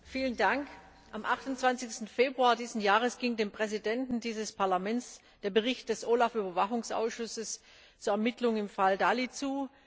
Herr Präsident! Am 28. Februar dieses Jahres ging dem Präsidenten dieses Parlaments der Bericht des OLAF Überwachungsausschusses zu den Ermittlungen im Fall Dalli zu.